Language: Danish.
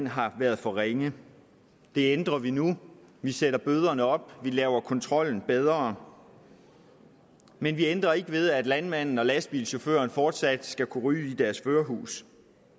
har været for ringe det ændrer vi nu vi sætter bøderne op og vi laver kontrollen bedre men vi ændrer ikke ved at landmanden og lastbilchaufføren fortsat skal kunne ryge i deres førerhus